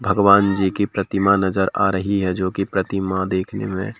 भगवान जी की प्रतिमा नजर आ रही है जो की प्रतिमा देखने में--